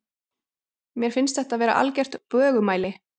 Mér finnst þetta vera algert bögumæli.